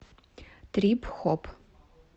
трип хоп